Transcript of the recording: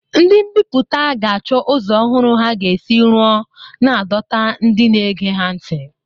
Ndị mbiputa ga-achọ ụzọ ọhụrụ ha ga-esi ruo na dota ndị na-ege ha ntị.